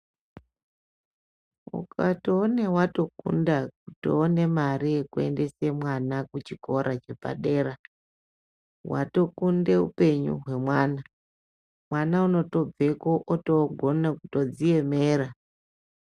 Ukatoone watokunda kutoone mare yekuendesa mwana kuchikora chepadera watokunda upenyu hwemwana. Mwana unozotobveko otogone kutodziemerera